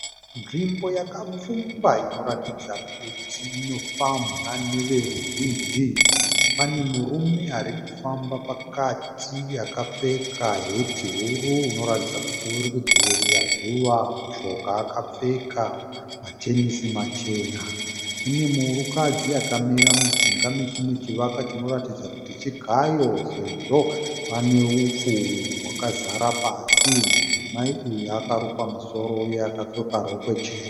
Nzvimbo yakapfumba Inoratidza kuti inofambwa neveruzhinji. Pane murume arikufamba pakati akapfeka heti huru inoratidza kuti uri kudzivirira zuva. Mushoka akapfeka matenesi machena. Kune mukadzi akamira mujinga mechimwe chivakwa chinoratidza kuti chigayo. Sezvo pane upfu wakazara pasi. Mudzimai uyu akarukwa musoro uye akapfeka rokwe chena .